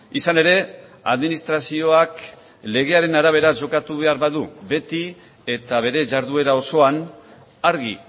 izan ere administrazioak legearen arabera jokatu behar badu beti eta bere jarduera osoan argi